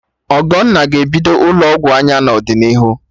Ogonna ga-ebido ụlọ ọgwụ anya n'ọdịnihu